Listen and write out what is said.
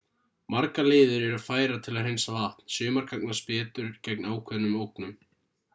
margar leiðir eru færar til að hreinsa vatn sumar gagnast betur gegn ákveðnum ógnum